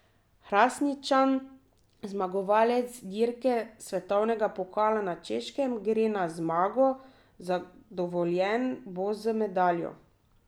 Hrastničan, zmagovalec dirke svetovnega pokala na Češkem, gre na zmago, zadovoljen bo z medaljo.